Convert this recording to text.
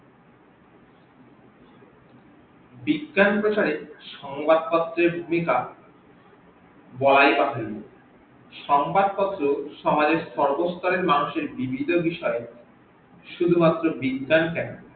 বিজ্ঞান প্রচারে সংবাদ পত্রের ভুমিকা বরাই পারে সংবাদ পত্র সমাজের সরবস্থলের মানুষের বিভিন বিষয়ের, শুধুমাত্র বিজ্ঞান কেন